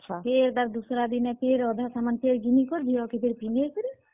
ଫେର୍ ତାର୍ ଦୁସାରା ଦିନେ ଫେର୍ ଅଧା ସାମାନ୍ ଫେର୍ ଘିନି କରି ଝିଅ କେ ଫେର୍ ପିନ୍ଧେଇ କରି।